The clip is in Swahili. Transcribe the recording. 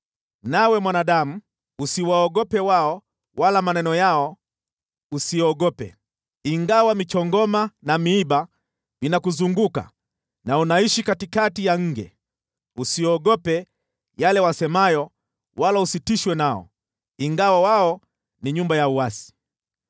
Nawe mwanadamu, usiwaogope wao wala maneno yao, usiogope, ingawa michongoma na miiba vinakuzunguka na unaishi katikati ya nge. Usiogope yale wasemayo wala usitishwe nao, ingawa wao ni nyumba ya uasi.